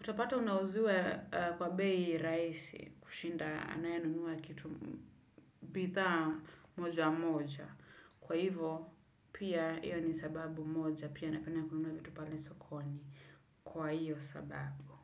Utapata unauziwa kwa bei rahisi kushinda anayenunua kitu bidhaa moja moja. Kwa hivo pia hiyo ni sababu moja pia napenda kununua vitu pale sokoni kwa hiyo sababu.